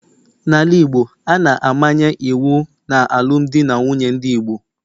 n'ala Igbo, a na-amanye iwu n'alụmdi na nwunye ndị Igbo